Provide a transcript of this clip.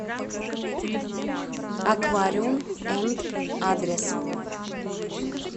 аквариум энд адрес